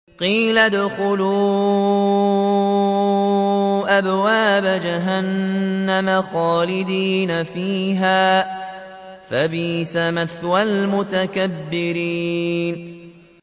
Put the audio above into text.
قِيلَ ادْخُلُوا أَبْوَابَ جَهَنَّمَ خَالِدِينَ فِيهَا ۖ فَبِئْسَ مَثْوَى الْمُتَكَبِّرِينَ